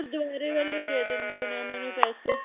ਗੁਰਦਵਾਰੇ ਵੱਲ ਹੀ ਦੇ ਦਿੰਦੇ ਹੋਣੇ ਆ ਓਹਨਾ ਨੂੰ ਪੈਸੇ